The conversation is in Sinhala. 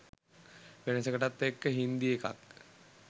වෙනසකටත් එක්ක හින්දි එකක්